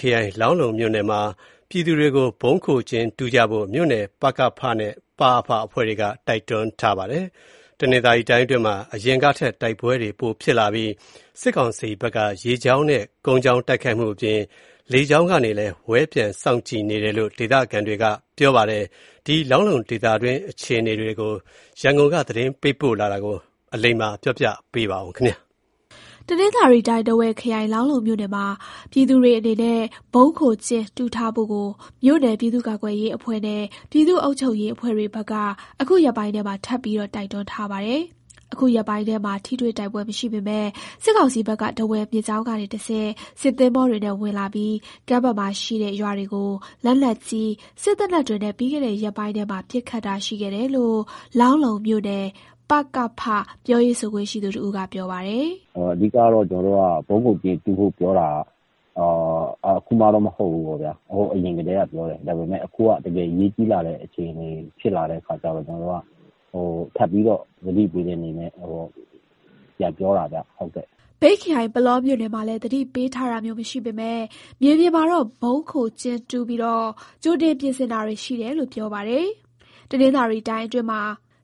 ခရိုင်၊ လောင်းလုံးမြို့နယ်မှာ ပြည်သူတွေကို ဗုံးခိုကျင်းတူးကြဖို့ မြို့နယ်ပကဖနဲ့ ပအဖအဖွဲ့တွေက တိုက်တွန်းထားပါတယ်။ တနင်္သာရီတိုင်းအတွင်းမှာ အရင်ကထက် တိုက်ပွဲတွေပိုဖြစ်လာပြီး စစ်ကောင်စီဘက်က ရေကြောင်းနဲ့ ကုန်းကြောင်း တိုက်ခိုက်မှုအပြင် လေကြောင်းကနေလည်း ပျံဝဲစောင့်ကြည့်နေတယ်လို့ ဒေသတာဝန်ရှိသူတွေကပြောပါတယ်။ လောင်းလုံးဒေသတွင်းအခြေအနေတွေကို အလိမ္မာက တင်ပြပေးထားပါတယ်။ တနင်္သာရီတိုင်း၊ ထားဝယ်ခရိုင်၊ လောင်းလုံမြို့နယ်မှာ ပြည်သူတွေအနေနဲ့ ဗုံးခိုကျင်းတူးထားဖို့ကို မြို့နယ် ပြည်သူ့ကာကွယ်ရေး အဖွဲ့နဲ့ ပြည်သူ့အုပ်ချုပ်ရေး အဖွဲ့တွေဘက်က အခုရက်ပိုင်းထဲမှာ ထပ်ပြီး တိုက်တွန်းထားပါတယ်။ အခုရက်ပိုင်းထဲမှာ ထိတွေ့တိုက်ပွဲ မရှိပေမယ့် စစ်ကောင်စီဘက်က ထားဝယ်မြစ်ကြောင်းကနေ တဆင့် စစ်သင်္ဘောတွေနဲ့ ဝင်လာပြီး ကမ်းဘက်မှာရှိတဲ့ ရွာတွေကို လက်နက်ကြီး၊ စစ်သေနတ်တွေနဲ့ ပြီးခဲ့တဲ့ ရက်ပိုင်းထဲမှာ ပစ်ခတ်တာရှိခဲ့တယ်လို့ လောင်းလုံးမြို့နယ်ပကဖ ပြောရေးဆိုခွင့်ရှိသူ တဦးက ပြောပါတယ်။ "အဓိကတော့ ကျနော်တို့က ဗုံးခိုကျင်းတူးဖို့ ပြောတာက အခုမှတော့ မဟုတ်ဘူးပေါ့ဗျာ၊ ဟိုးအရင်ကတည်းက ပြောတယ်။ ဒါပေမဲ့ အခုက တကယ်အရေးကြီးလာတဲ့ အခြေအနေဖြစ်လာတဲ့ အခါကျတော့ ကျနော်တို့က ထပ်ပြီးတော့ သတိပေးတဲ့အနေနဲ့ ပြန်ပြောတာဗျ။" မြိတ်ခရိုင်၊ ပုလောမြို့နယ်မှာလည်း သတိပေးထားတာမျိုး မရှိပေမယ့် မြေပြင်မှာတော့ ဗုံးခိုကျင်းတူးပြီး ကြိုတင်ပြင်ဆင်တာတွေ ရှိတယ်လို့ ပြောပါတယ်။ တနင်္သာရီတိုင်းအတွင်းမှာ